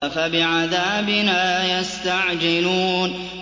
أَفَبِعَذَابِنَا يَسْتَعْجِلُونَ